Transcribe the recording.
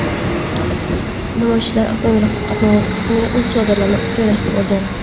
Namoyishchilar avtomobil qatnovi qismiga o‘z chodirlarini joylashtirib olgan.